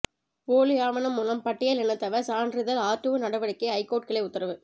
போலி ஆவணம் மூலம் பட்டியல் இனத்தவர் சான்றிதழ் ஆர்டிஓ நடவடிக்கைக்கு ஐகோர்ட் கிளை உத்தரவு